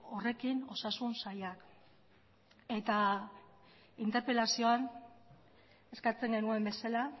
horrekin osasun sailak eta interpelazioan eskatzen genuen bezala